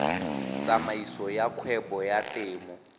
tsamaiso ya kgwebo ya temo